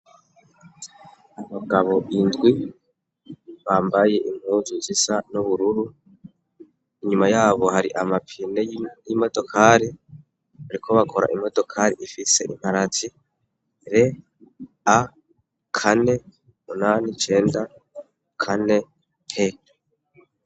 Abagabo indwi bambaye impuzu zisa n'ubururu, inyuma y'abo, hari amapine y'imodokari. Bariko bakora imodokari ifise imparati RA489P.